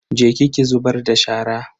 Je ki ki zubar da shara.